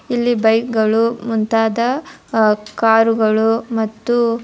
ಇಲ್ಲಿ ಬೈಕ್ ಗಳು ಮುಂತಾದ ಅಹ್ ಕಾರುಗಳು ಮತ್ತು.